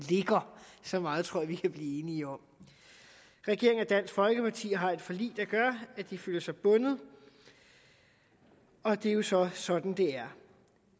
så meget tror jeg vi kan blive enige om regeringen og dansk folkeparti har et forlig der gør at de føler sig bundet og det er jo så sådan det er